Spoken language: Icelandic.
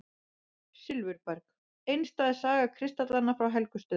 Silfurberg: einstæð saga kristallanna frá Helgustöðum.